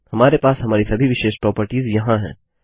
हमारे पास हमारी सभी विशेष प्रोपर्टिज यहाँ हैं